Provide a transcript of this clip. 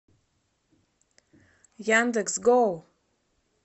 яндекс гоу